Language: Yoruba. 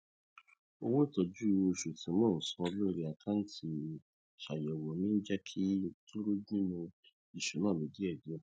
owó ìtọju oṣù tí mo ń san lórí àkántì ṣàyẹwò mi ń jẹ kúrò nínú ìsúná mi díẹ díẹ